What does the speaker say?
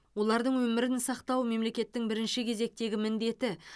олардың өмірін сақтау мемлекеттің бірінші кезектегі міндеті